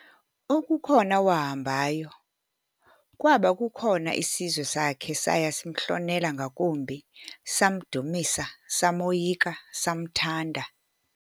Okukhona wahambayo, kwaba kukhona isizwe sakhe saya simhlonela ngakumbi, samdumisa, samoyika, samthanda.